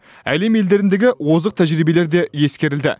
әлем елдеріндегі озық тәжірибелер де ескерілді